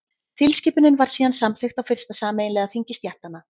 tilskipunin var síðan samþykkt á fyrsta sameiginlega þingi stéttanna